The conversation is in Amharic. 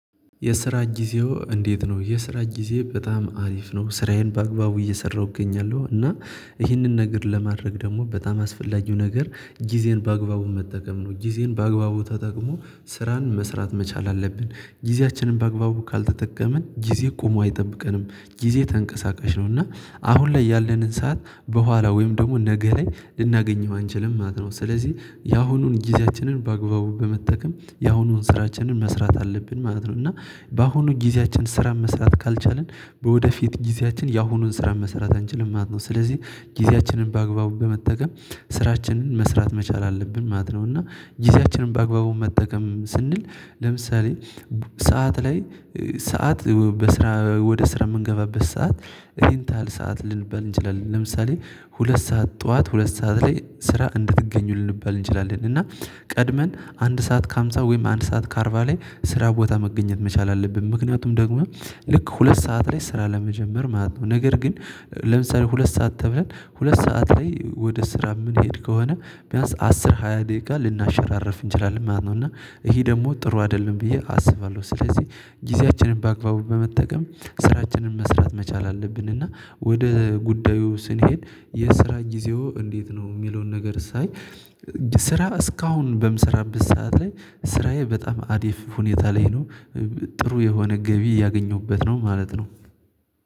የስራ ጊዜው እንዴት ነው? የስራ ጊዜ በጣም አሪፍ ነው ስራዬን በአግባቡ እየሰራሁኝ እገኛለሁ። እና ይህንን ነገር ለማድረግ ደግሞ በጣም አስፈላጊው ነገር ጊዜን በአግባቡ መጠቀም ነው። ጊዜን በአግባቡ ተጠቅሞ ስራን መስራት መቻል አለብን። ጊዜያችንን በአግባቡ ካልተጠቀምን ጊዜ ቆሞ አይጠብቀንም ጊዜ ተንቀሳቃሽ ነው። እና አሁን ላይ ያለንን ሰዓት በኋላ ወይም ደግሞ ነገ ላይ ልናገኘው አንችልም ማለት ነው። ስለዚህ ያሁኑን ጊዜያችንን በአግባቡ በመጠቀም ያሁኑን ስራችንን መስራት አለብን ማለት ነው። እና በአሁኑ ጊዜያችን ስራ መስራት ካልቻልን ወደፊት ጊዜያችን የአሁኑን ስራ መስራት አንችልም ማለት ነው። ስለዚህ ጊዜያችንን በአግባቡ በመጠቀም ስራችንን መስራት መቻል አለብን ማለት ነው። እና ጊዜያችንን በአግባቡ መጠቀም ስንል ለምሳሌ ሰዓት ላይ ሰዓት በስራ ወደ ስራ የምንገባበት ሰዓት ይሄን ታሀል ሰዓት ልንባል እንችላለን። ለምሳሌ ሁለት ሰዓት ጠዋት ሁለት ሰዓት ላይ ስራ እንድትገኙ ልንባል እንችላለን። እና ቀድመን አንድ ሰዓት ከሃምሳ ወይም አንድ ሰዓት ከአርባ ላይ ስራ ቦታ መገኘት መቻል አለብን ምክንያቱም ደግሞ ልክ ሁለት ሰዓት ላይ ስራ ለመጀመር ማለት ነው። ነገር ግን ለምሳሌ ሁለት ሰዓት ተብለን ሁለት ሰዓት ላይ ወደ ስራ የምንሄድ ከሆነ ቢያንስ አስር ሃያ ደቂቃ ልናሸራርፍ እንችላለን ማለት ነው። እና ይሄ ደግሞ ጥሩ አይደለም ብዬ አስባለሁ። ስለዚህ ጊዜያችንን በአግባቡ በመጠቀም ስራችንን መስራት መቻል አለብን። እና ወደ ጉዳዩ ስንሄድ የስራ ጊዜው እንዴት ነው? የሚለውን ነገር ሳይ ስራ እስካሁን በምሰራበት ሰዓት ላይ ስራዬ በጣም አሪፍ ሁኔታ ላይ ነው ጥሩ የሆነ ገቢ እያገኘሁበት ነው ማለት ነው።